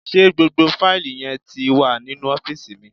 Ṣé gbogbo fáìlì yẹn ti wà nínú ọ́fìsì mi?